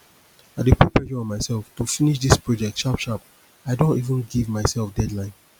i dey put pressure on myself to finish this project sharp sharp i don even give myself deadline